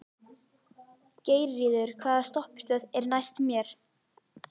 Geirríður, hvaða stoppistöð er næst mér?